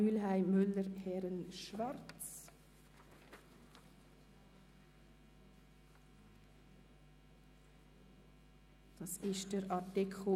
Mühlheim/ Müller/Herren/Schwarz zu Artikel 31a Absatz 3 (neu) ab.